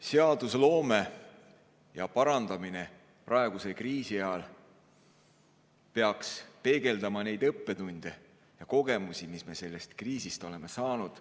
Seadusloome ja parandamine praeguse kriisi ajal peaks peegeldama neid õppetunde ja kogemusi, mis me sellest kriisist oleme saanud.